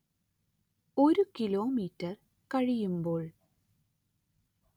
ഒരു കിലോമീറ്റർ കഴിയുമ്പോൾ